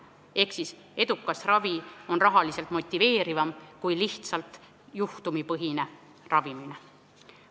Ehk edukas ravi on rahaliselt motiveerivam kui lihtsalt juhtumipõhine ravimine.